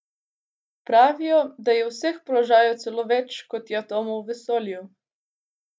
Pravijo, da je vseh položajev celo več, kot je atomov v vesolju.